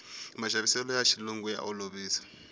maxaviseloya xilungu ya olovisa